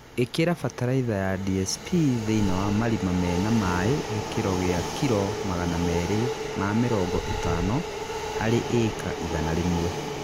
Īkĩra bataraitha ya DSP thĩinĩ wa marima mena maĩ gĩkĩro gĩa kiro magana merĩ ma mĩrongo ĩtano harĩ ĩka igana rĩmwe